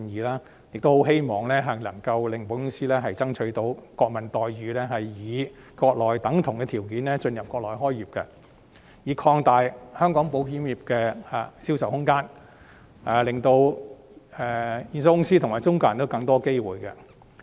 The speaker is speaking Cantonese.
我亦很希望能夠為保險公司爭取國民待遇，以國內等同的條件進入國內開業，擴大香港保險業的銷售空間，令保險公司及中介人都有更多機會。